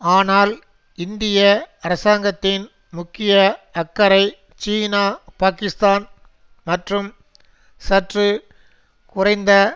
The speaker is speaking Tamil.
ஆனால் இந்திய அரசாங்கத்தின் முக்கிய அக்கறை சீனா பாக்கிஸ்தான் மற்றும் சற்று குறைந்த